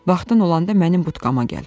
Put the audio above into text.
Vaxtın olanda mənim butkama gəl.